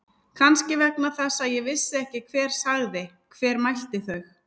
Kannski vegna þess að ég vissi ekki hver sagði. hver mælti þau.